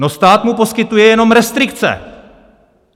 No, stát mu poskytuje jenom restrikce!